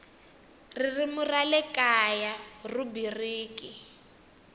ririmi ra le kaya rhubiriki